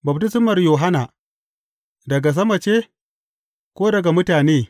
Baftismar Yohanna, daga sama ce, ko daga mutane?